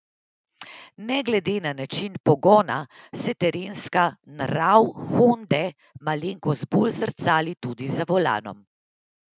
Ne glede na način pogona se terenska nrav honde malenkost bolj zrcali tudi za volanom.